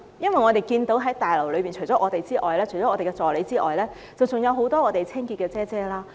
因為我們看到在大樓裏面，除了我們和一些議員助理之外，還有很多清潔姐姐。